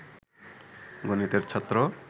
গণিতের ছাত্র